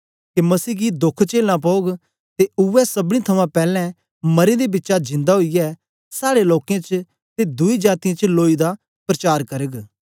के मसीह गी दोख चेलना पौग ते उवै सबनी थमां पैलैं मरें दे बिचा जिंदा ओईयै साड़े लोकें च ते दुई जातीयें च लोई दा प्रचार करग